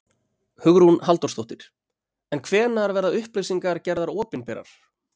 Hugrún Halldórsdóttir: En hvenær verða upplýsingarnar gerðar opinberar?